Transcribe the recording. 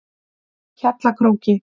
Hjallakróki